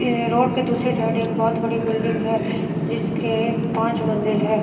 ए road के दूसरी side एक बहोत बड़ी बिल्डिंग है जिसके पांच मंजिल है।